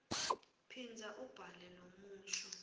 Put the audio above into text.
phindza ubhale lomusho